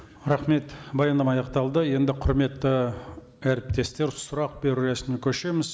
рахмет баяндама аяқталды енді құрметті әріптестер сұрақ беру рәсіміне көшеміз